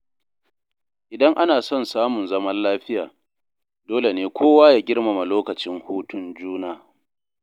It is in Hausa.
Idan ana son samun zaman lafiya, dole ne kowa ya girmama lokacin hutun juna.